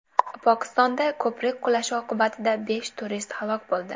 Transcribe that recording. Pokistonda ko‘prik qulashi oqibatida besh turist halok bo‘ldi.